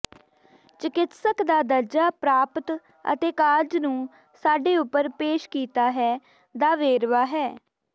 ਚਿਕਿਤਸਕ ਦਾ ਦਰਜਾ ਪ੍ਰਾਪਤ ਅਤੇ ਕਾਰਜ ਨੂੰ ਸਾਡੇ ਉਪਰ ਪੇਸ਼ ਕੀਤਾ ਹੈ ਦਾ ਵੇਰਵਾ ਹੈ